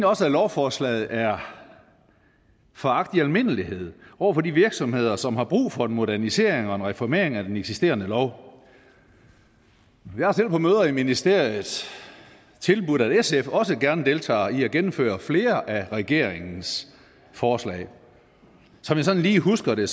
også at lovforslaget er foragt i almindelighed over for de virksomheder som har brug for en modernisering og en reformering af den eksisterende lov jeg har selv på møder i ministeriet tilbudt at sf også gerne deltager i at gennemføre flere af regeringens forslag som jeg sådan lige husker det